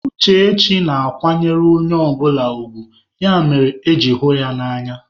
Uchechi na-akwanyere onye ọbụla ugwu, ya mere eji hụ ya n'anya.